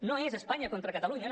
no és espanya contra catalunya no